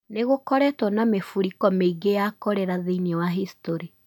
Nĩ gũkoretwo na mĩrifũko mĩingĩ ya korera thĩinĩ wa historĩ.